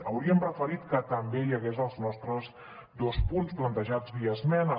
hauríem preferit que també hi hagués els nostres dos punts plantejats via esmena